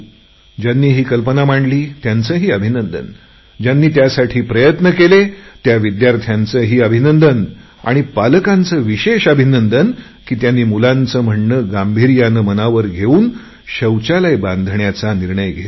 ज्यांनी ही कल्पना मांडली त्यांचेही अभिनंदन ज्यांनी त्यासाठी प्रयत्न केले त्या विद्यार्थ्यांचेही अभिनंदन आणि पालकांचे विशेष अभिनंदन की त्यांनी मुलांची चिठ्ठी गांभीर्याने मनावर घेवून शौचालय बनवायचे काम करायचा निर्णय घेतला